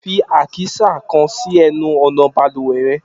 Fi àkísà kan sì ẹnu ọ̀nà balùwẹ̀ rẹ!